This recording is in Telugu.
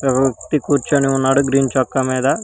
కూర్చుని ఉన్నారు గ్రీన్ చొక్కా మీద.